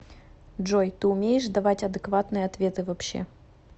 джой ты умеешь давать адекватные ответы вообще